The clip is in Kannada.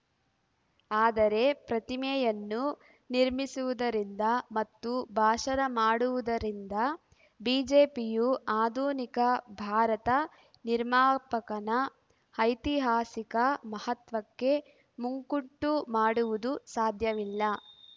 ಆದರೆ ಪ್ರತಿಮೆಯನ್ನು ನಿರ್ಮಿಸುವುದರಿಂದ ಮತ್ತು ಭಾಷಣ ಮಾಡುವುದರಿಂದ ಬಿಜೆಪಿಯು ಆಧುನಿಕ ಭಾರತ ನಿರ್ಮಾಪಕನ ಐತಿಹಾಸಿಕ ಮಹತ್ವಕ್ಕೆ ಮುಕ್ಕುಂಟು ಮಾಡುವುದು ಸಾಧ್ಯವಿಲ್ಲ